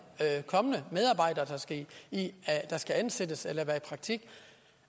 kommende medarbejdere der skal ansættes eller være i praktik